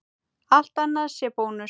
Allt annað sé bónus?